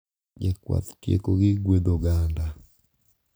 Jakwath tieko gi gwedho oganda,